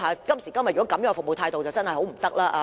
今時今日這樣的服務態度，真的不行。